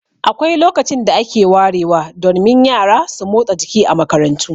Akwai lokacin da ake warewa, don min yara su motsa jiki a makarantu.